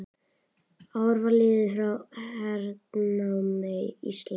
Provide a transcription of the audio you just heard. Ár var liðið frá hernámi Íslands.